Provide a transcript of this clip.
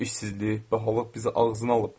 İşsizlik, bahalıq bizi ağzına alıb.